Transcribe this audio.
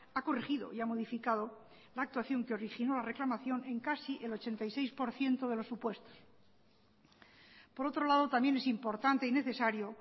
ha corregido y ha modificado la actuación que originó la reclamación en casi el ochenta y seis por ciento de los supuestos por otro lado también es importante y necesario